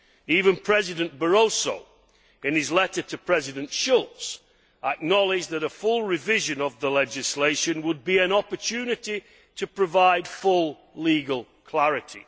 Even President Barroso in his letter to President Schulz acknowledged that a full revision of the legislation would be an opportunity to provide full legal clarity.